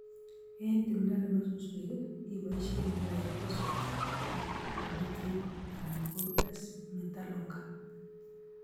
Eng timdo nebo suswek iboisie Glyphosphate ak Prometryn anan ko S-metolachlor